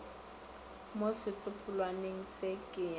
mo setsopolwaneng se ke ya